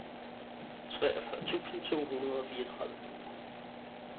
treogfyrre tusind to hundrede og fireogtredive